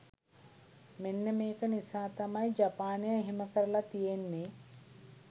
මෙන්න මේක නිසා තමයි ජපානය එහෙම කරලා තියෙන්නේ.